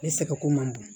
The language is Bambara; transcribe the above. Ne sɛgɛnko man bon